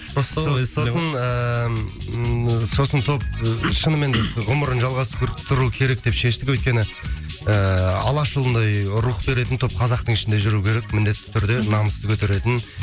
сосын ыыы ммм сосын топ ы шынымен ғұмырын жалғастыру керек деп шештік өйткені ііі алаш ұлындай рух беретін топ қазақтың ішінде жүру керек міндетті түрде намысты көтеретін